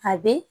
A be